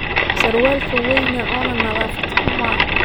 Sarwalkan weyna ona nadafat huma.